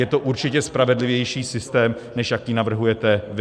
Je to určitě spravedlivější systém, než jaký navrhujete vy.